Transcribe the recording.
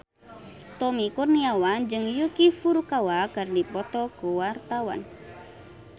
Tommy Kurniawan jeung Yuki Furukawa keur dipoto ku wartawan